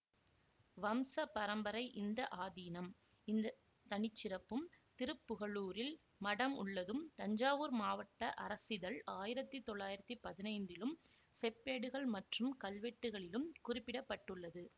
வம்ச பரம்பரை இந்த ஆதீனம் இந்த தனிச்சிறப்பும் திருப்புகலூரில் மடம் உள்ளதும் தஞ்சாவூர் மாவட்ட அரசிதழ் ஆயிரத்தி தொள்ளாயிரத்தி பதினைந்திலும் செப்பேடுகள் மற்றும் கல்வெட்டுகளிலும் குறிப்பிட பட்டுள்ளது